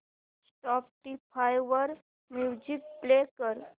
Spotify वर music play कर